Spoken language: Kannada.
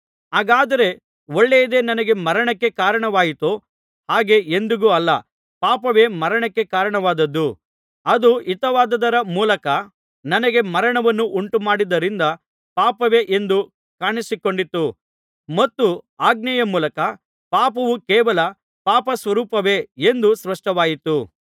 ಹಾಗಾದರೆ ಒಳ್ಳೆಯದೆ ನನಗೆ ಮರಣಕ್ಕೆ ಕಾರಣವಾಯಿತೋ ಹಾಗೆ ಎಂದಿಗೂ ಅಲ್ಲ ಪಾಪವೇ ಮರಣಕ್ಕೆ ಕಾರಣವಾದದ್ದು ಅದು ಹಿತವಾದದರ ಮೂಲಕ ನನಗೆ ಮರಣವನ್ನು ಉಂಟುಮಾಡಿದ್ದರಿಂದ ಪಾಪವೇ ಎಂದು ಕಾಣಿಸಿಕೊಂಡಿತು ಮತ್ತು ಆಜ್ಞೆಯ ಮೂಲಕ ಪಾಪವು ಕೇವಲ ಪಾಪಸ್ವರೂಪವೇ ಎಂದು ಸ್ಪಷ್ಟವಾಯಿತು